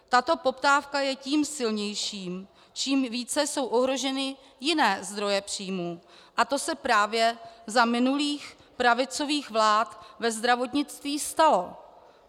Tato poptávka je tím silnější, čím více jsou ohroženy jiné zdroje příjmů, a to se právě za minulých pravicových vlád ve zdravotnictví stalo.